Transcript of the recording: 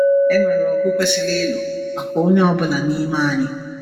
E nwere ọgụ kwesịrị ịlụ maka onye ọ bụla n’ime anyị.